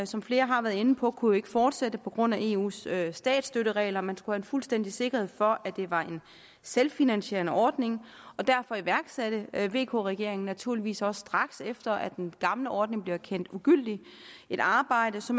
som flere har været inde på kunne jo ikke fortsætte på grund af eus statstøtteregler man skulle have en fuldstændig sikkerhed for at det var en selvfinansierende ordning og derfor iværksatte vk regeringen naturligvis også straks efter at den gamle ordning blev erkendt ugyldig et arbejde så